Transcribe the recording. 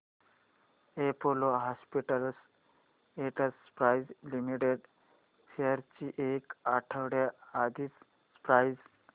Apollo Hospitals Enterprise Limited shares ची एक आठवड्या आधीची प्राइस